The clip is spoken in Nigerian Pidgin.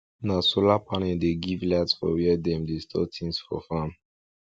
na solar panel dey give light for where dem dey store things for farm